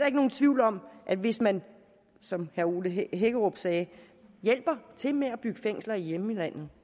ikke nogen tvivl om at hvis man som herre ole hækkerup sagde hjælper til med at bygge fængsler i hjemlandet